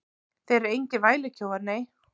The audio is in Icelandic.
Þeir eru engir vælukjóar, nei.